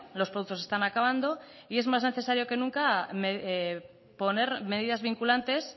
los productos se están acabando y es más necesario que nunca poner medidas vinculantes